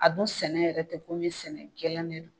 A dun sɛnɛ yɛrɛ tɛ komi sɛnɛ gɛlɛn de don